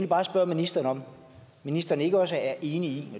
bare spørge ministeren om ministeren ikke også er enig i